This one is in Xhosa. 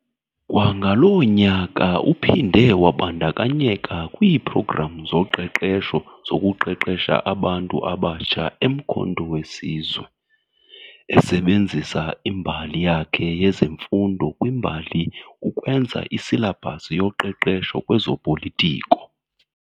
Kwangaloo nyaka uphinde wabandakanyeka kwiiprogram zoqeqesho zokuqesha abantu abatsha eMkhonto weSizwe, esebenzisa imbali yakhe yezemfundo kwimbali ukwenza isilabhasi yoqeqesho kwezopolitiko.